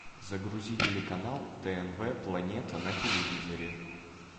загрузи телеканал тнв планета на телевизоре